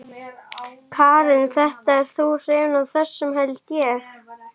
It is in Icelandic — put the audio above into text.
Karen: Þetta, þú ert hrifinn af þessu held ég?